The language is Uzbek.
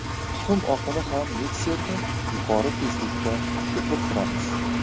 Tuxum oqini ham mikserda yuqori tezlikda ko‘pirtiramiz.